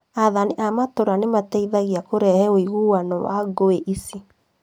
Aathani a itũra nĩmateithagia kũrehe ũiguano wa ngũi ici